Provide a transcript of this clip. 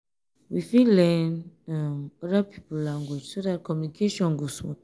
we fit learn um oda pipo language so dat communication go smooth